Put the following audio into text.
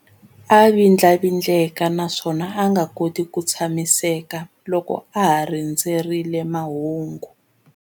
A vindlavindleka naswona a nga koti ku tshamiseka loko a ha rindzerile mahungu.